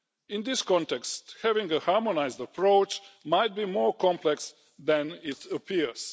In this context, having a harmonised approach might be more complex than it appears.